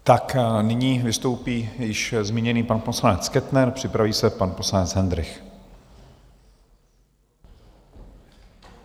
Tak nyní vystoupí již zmíněný pan poslanec Kettner, připraví se pan poslanec Hendrych.